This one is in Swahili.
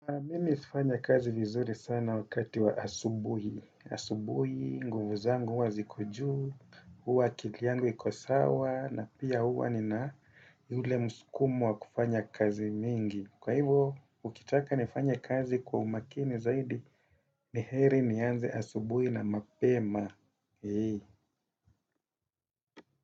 Mimi hufanya kazi vizuri sana wakati wa asubuhi. Asubuhi, nguvu zangu, huwa ziko juu, huwa akili yangu iko sawa, na pia huwa nina yule musukumo wa kufanya kazi mingi. Kwa hivo, ukitaka nifanye kazi kwa umakini zaidi, ni heri nianze asubuhi na mapema.